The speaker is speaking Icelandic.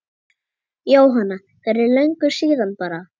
Jóhanna: Fyrir löngu síðan bara?